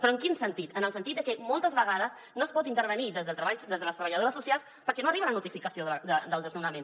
però en quin sentit en el sentit de que moltes vegades no es pot intervenir des de les treballadores socials perquè no arriba la notificació del desnonament